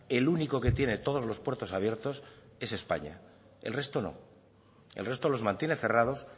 el único que tiene todos los puertos abiertos es españa el resto no el resto los mantiene cerrados